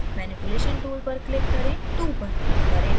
manipulation tool पर click करें 2 पर click करें और इसे ऊपर drag करें